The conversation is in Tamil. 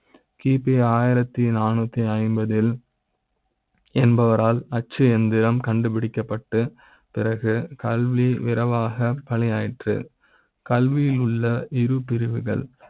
கி பி ஒன்று ஆயிரம் நாநூறூ ஐம்பதில . என்பவரா ல் அச்சு எந்திர ம் கண்டுபிடிக்கப்பட்டு பிறகு கல்வி விரைவாக பணி ஆயிற்று கல்வி யில் உள்ள இரு பிரிவுகள்